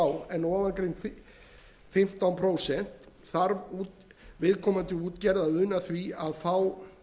en ofangreind fimmtán prósent þarf viðkomandi útgerð að una því að fá